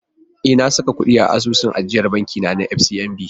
E, na saka kuɗi a asusun ajiyar banki na da ke FCMB.